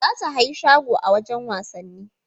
Za ta hayi shago a wajan wasanni